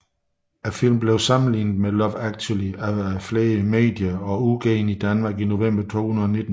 Filmen blev sammenlignet med Love Actually af flere medier og udgivet i Danmark i november 2019